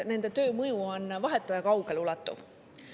Nende töö mõju on vahetu ja kaugeleulatuv.